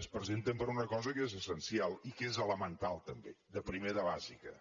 es presenten per una cosa que és essencial i que és elemental també de primer de bàsica